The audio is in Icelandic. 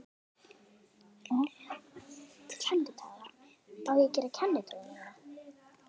Letrað var mitt blað.